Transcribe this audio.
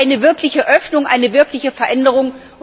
Das wäre eine wirkliche Öffnung, eine wirkliche Veränderung.